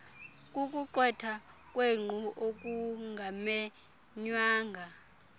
kukuqwetha ngenkqu okungamenywanga